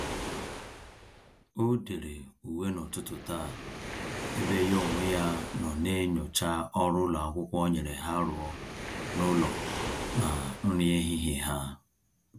O-dere uwe n'ụtụtụ taa, ebe ya onwe ya nọ na-enyocha ọrụ ụlọakwụkwọ nyere ha rụọ na-ụlọ na nri ehihie ha